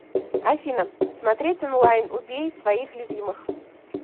афина смотреть онлайн убей своих любимых